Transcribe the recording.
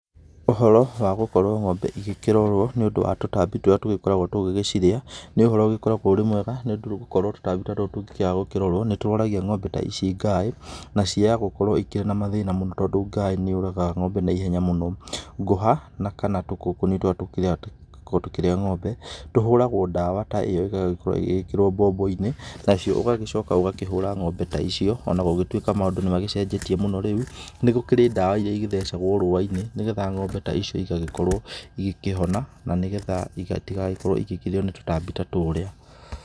Ũhoro wa gũkorwo ng'ombe igĩkĩrorwo nĩũndũ wa tũtambi tũrĩa tũkoragwo tũgĩgĩcirĩa, nĩ ũhoro ũgĩkoragwo ũrĩmwega, nĩũndũ gũkorwo tũtambi ta tũtũ tũngĩkĩaga gũkĩrorwo, nĩtũrwaragia ng'ombe ici ngaĩ na ciaya gũkorwo ikĩrĩ na mathĩna mũno tondũ ngaĩ nĩyũragaga ng'ombe naihenya mũno. Ngũha na kana tũngũngũni tũrĩa tũkoragwo tũkĩrĩa ng'ombe, tũhũragwo ndawa ta ĩyo, ĩgagĩkorwo ĩgĩgĩkĩrwo mbombo-inĩ, nacio ũgagĩcoka ũgakĩhũra ng'ombe ta icio onagũgĩtuĩka maũndũ nĩmagĩcenjetie mũno rĩu, nĩgũkĩrĩ ndawa iria igĩthecagwo rũũa-inĩ nĩgetha ng'ombe ta icio igagĩkorwo igĩkĩhona na nĩgetha itigagĩkorwo igĩkĩrĩo nĩ tũtambi ta tũrĩa.